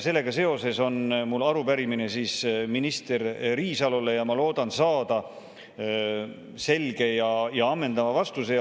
Sellega seoses on mul arupärimine minister Riisalole ja ma loodan saada selge ja ammendava vastuse.